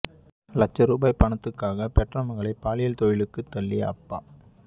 லட்ச ரூபாய் பணத்துக்காக பெற்ற மகளை பாலியல் தொழிலுக்கு தள்ளிய அப்பா